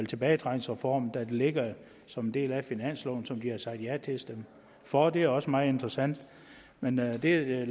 tilbagetrækningsreformen der ligger som en del af finansloven som de har sagt ja til at stemme for det er også meget interessant men lad det